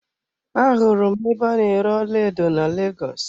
Ahụrụ m ebe a na-ere ọlaedo na Lagos.